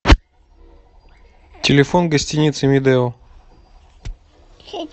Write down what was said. телефон гостиницы медео